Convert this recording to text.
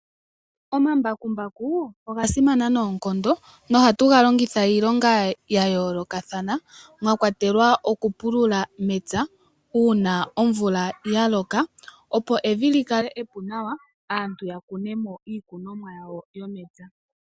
Oomambakumbaku ogasimana noonkondo .Ohatu galongitha iilonga yayolokathana mwakwatelwa okupulula momapya una omvula yaloka opo evi likale epu nawa aantu yakune mo iikunomwa yawo yomepya.